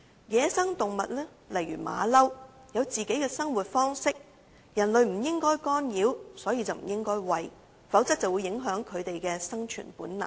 野生動物如猴子，有自己的生活方式，人類不應干擾，所以不應餵食，否則便會影響牠們的生存本能。